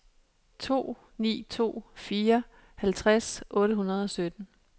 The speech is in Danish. to ni to fire halvtreds otte hundrede og sytten